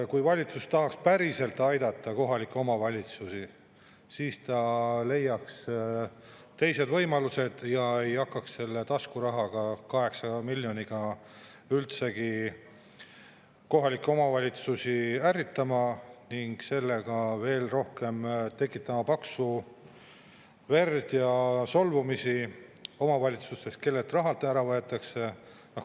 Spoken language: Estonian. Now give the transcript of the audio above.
Kui valitsus tahaks päriselt aidata kohalikke omavalitsusi, siis ta leiaks teised võimalused ja ei hakkaks selle taskurahaga, 8 miljoniga, üldse kohalikke omavalitsusi ärritama ning sellega veel rohkem tekitama paksu verd ja solvumist omavalitsustes, kellelt raha ära võetakse.